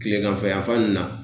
Kileganfɛ yanfan ninnu na